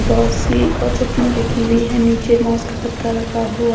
दोसी और चटनी रखी हुई है निचे मोस का गत्ता रखा हुआ --